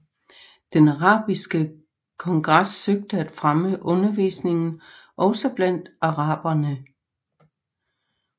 Den arabiske kongres søgte at fremme undervisningen også blandt araberne